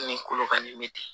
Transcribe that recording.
Ni kolokanni bɛ ten